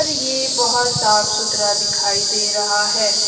ये बहुत साफ सुथरा दिखाई दे रहा है।